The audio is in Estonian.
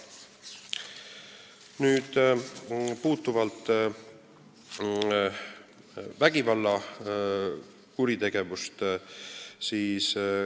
Nüüd vägivallakuritegevus.